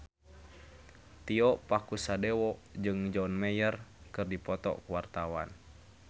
Tio Pakusadewo jeung John Mayer keur dipoto ku wartawan